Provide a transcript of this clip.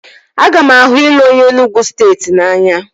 Aga m ahụ ịlụ onye Enugwu steeti n'anya